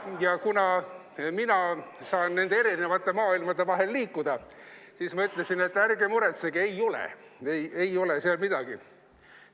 Ja kuna mina saan erinevate maailmade vahel liikuda, siis ma ütlesin, et ärge muretsege, ei ole, ei ole seal midagi.